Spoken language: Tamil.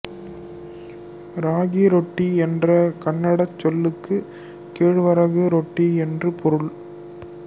ராகிரொட்டி என்ற கன்னடச் சொல்லுக்கு கேழ்வரகு ரொட்டி என்று பொருள்